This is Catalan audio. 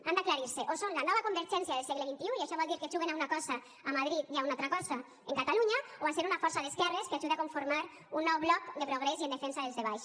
han d’aclarir se o són la nova convergència del segle xxi i això vol dir que juguen a una cosa a madrid i a una altra cosa en catalunya o a ser una força d’esquerres que ajuda a conformar un nou bloc de progrés i en defensa dels de baix